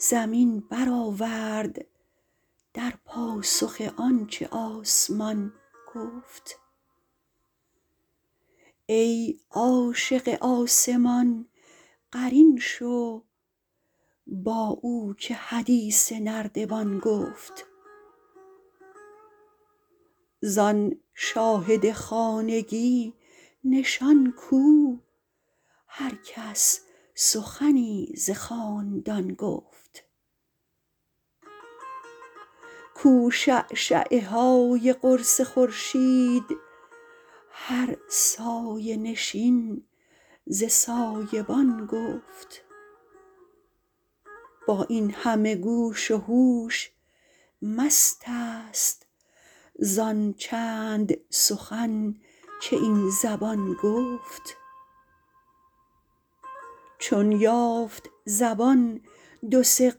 زمین برآورد در پاسخ آن چه آسمان گفت ای عاشق آسمان قرین شو با او که حدیث نردبان گفت زان شاهد خانگی نشان کو هر کس سخنی ز خاندان گفت کو شعشعه های قرص خورشید هر سایه نشین ز سایه بان گفت با این همه گوش و هوش مستست زان چند سخن که این زبان گفت چون یافت زبان دو سه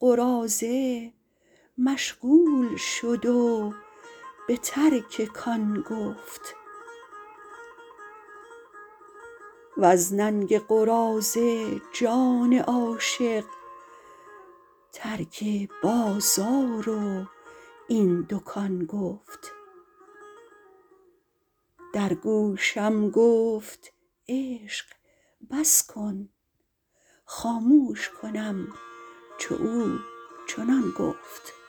قراضه مشغول شد و به ترک کان گفت وز ننگ قراضه جان عاشق ترک بازار و این دکان گفت در گوشم گفت عشق بس کن خاموش کنم چو او چنان گفت